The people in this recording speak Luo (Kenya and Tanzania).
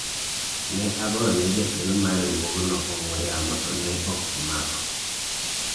ne agoyo ne jakeno mar riwuogno ong'wen yamo to ne ok omako